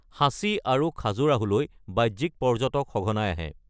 সাঁচী আৰু খাজুৰাহোত বাহ্যিক পৰ্যটক সঘনাই আহে।